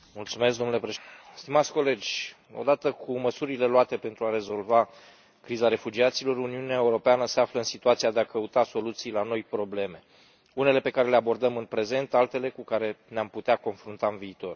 Domnule președinte, odată cu măsurile luate pentru a rezolva criza refugiaților, Uniunea Europeană se află în situația de a căuta soluții la noi probleme, unele pe care le abordăm în prezent, altele cu care ne am putea confrunta în viitor.